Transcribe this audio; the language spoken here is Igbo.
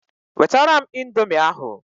Wetara m indomie ahụ!